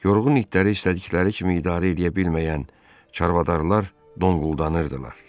Yorğun itləri istədikləri kimi idarə edə bilməyən çarvadarlar donquldanırdılar.